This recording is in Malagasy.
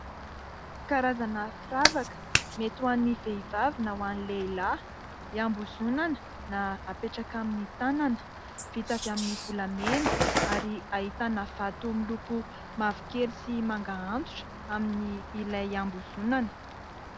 Karazana firavaka mety amin'ny vehivavy na ny lehilahy, ihambozonana na apetraka amin'ny tanana. Vita avy amin'ny volamena ary vato miloko mavokely sy manga antitra amin'ilay ihambozonana.